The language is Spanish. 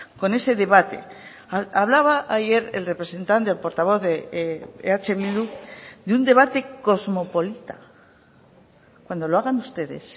con ese debate hablaba ayer el representante portavoz de eh bildu de un debate cosmopolita cuando lo hagan ustedes